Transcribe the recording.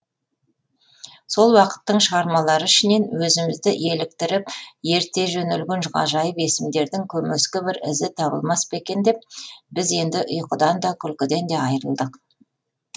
сол уақыттың шығармалары ішінен өзімізді еліктіріп ерте жөнелген ғажайып есімдердің көмескі бір ізі табылмас па екен деп біз енді ұйқыдан да күлкіден де айрылдық